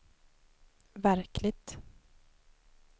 verkligt